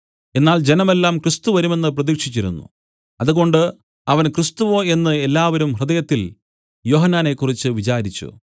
എന്നാൽ ജനമെല്ലാം ക്രിസ്തു വരുമെന്നു പ്രതീക്ഷിച്ചിരുന്നു അതുകൊണ്ട് അവൻ ക്രിസ്തുവോ എന്നു എല്ലാവരും ഹൃദയത്തിൽ യോഹന്നാനെക്കുറിച്ച് വിചാരിച്ചു